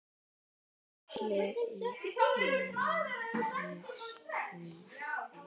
Og allir í fínu stuði.